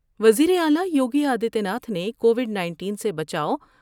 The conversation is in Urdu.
وزیراعلی یوگی آدتیہ ناتھ نے کووڈ نائنٹین سے بچاؤ